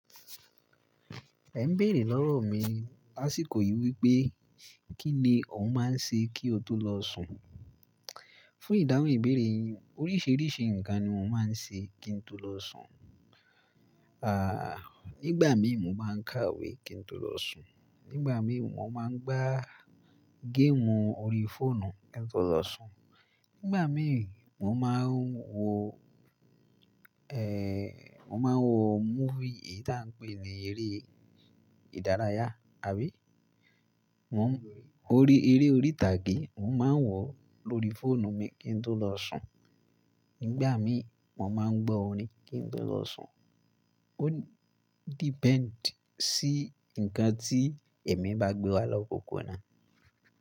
Ẹ ń béèrè lọ́rọ̀ mi lásìkò yìí wípé, kí ni òun maá ń ṣe kí o tó lọ sùn? Fún ìdáhùn ìbéèrè yíi, oríṣiríṣi nǹkan ni mo má ń ṣe kí ń tó lọ sùn. À, nígbà mí mo má ń kàwé kí ń tó lọ sùn, nígbà mí mo má ń gbá game orí fóònù kí ń tó lọ sùn, ngbà mí mo máa ń wo, ẹ́ẹ́ mo máa ń wo movie, èyí tí à ń pè ní eré ìdárayá àbí? Mo ń, ori eré orí ìtàgé, mo máa ń wọ̀ lóri fóònù mi kí ń tó lọ sùn, nígbà mí mo má ń gbọ́ orin kí ń tó lọ sùn. Ó depend sí ǹnkan tí èmi bá gbé wá lọ́popo onà.